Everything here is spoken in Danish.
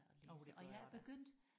Oh det gør jeg også da